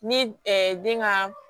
Ni den ka